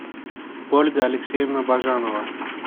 ольга алексеевна бажанова